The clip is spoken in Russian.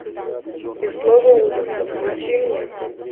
без злого умысла включи мне